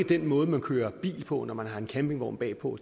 den måde man kører bil på når man har en campingvogn bagpå